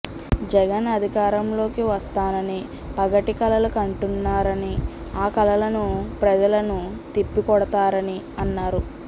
జగన్ అధికారంలోకి వస్తానని పగటికలలు కంటున్నరని ఆ కలలను ప్రజలను తిప్పికొడతారని అన్నారు